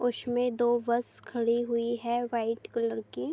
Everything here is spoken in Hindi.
दो बस खड़ी हुई है व्‍हाईट कलर की ।